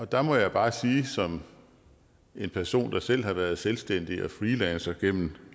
der må jeg bare som en person der selv har været selvstændig og freelancer gennem